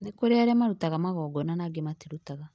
Nĩkũrĩ arĩa marutaga magongona na angĩ matirutaga